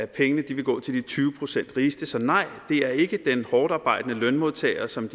pengene ville gå til de tyve procent rigeste så nej det er ikke den hårdtarbejdende lønmodtager som